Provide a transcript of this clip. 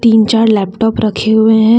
तीन चार लैपटॉप रखे हुए हैं।